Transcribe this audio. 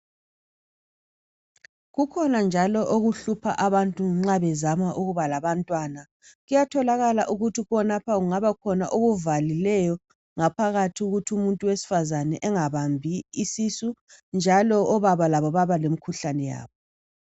Kukhona njalo okuhlupha abantu nxa bezama ukuba labantwana . Kuyatholakala ukuthi khonapha kungaba khona okuvalileyo ngaphakathi ukuthi umuntu owesifazana engabambi isisu njalo obaba labo baba lemikhuhlane yabo.